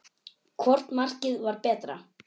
Hvort markið var betra?